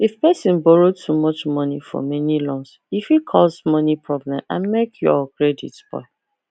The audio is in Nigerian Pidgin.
if person borrow too much money for many loans e fit cause money problem and make your credit spoil